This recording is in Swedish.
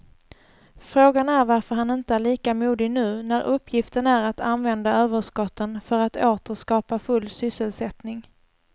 Frågan är varför han inte är lika modig nu när uppgiften är att använda överskotten för att åter skapa full sysselsättning.